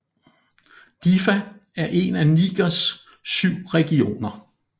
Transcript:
Diffa er en af Nigers syv regioner